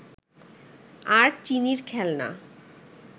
আর চিনির খেলনা